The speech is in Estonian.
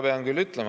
Teie aeg!